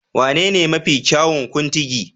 Wanene mafi kyawun Kuntigi?